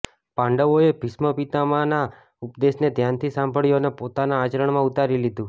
પાંડવોએ ભીષ્મ પિતામહ ના આ ઉપદેશને ધ્યાનથી સાંભળ્યું અને પોતાના આચરણમાં ઉતારી લીધું